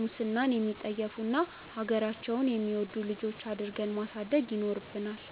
ሙስናን የሚጠየፉ እና ሀገራቸውን የሚወዱ ልጆች አድርገን ማሳደግ ይኖርብናል።